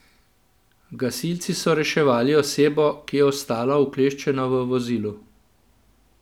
Gasilci so reševali osebo, ki je ostala ukleščena v vozilu.